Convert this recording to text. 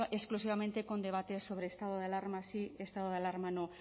exclusivamente con debates sobre estado de alarma sí estado de alarma no